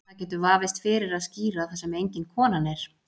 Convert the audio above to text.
Það getur vafist fyrir að skíra þar sem engin konan er.